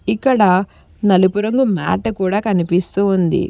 ఇక్కడ నలుపు రంగు మ్యాట్ కూడ కనిపిస్తూ ఉంది.